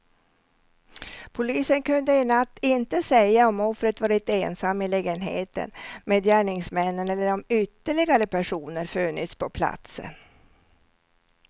Polisen kunde i natt inte säga om offret varit ensam i lägenheten med gärningsmännen eller om ytterligare personer funnits på platsen.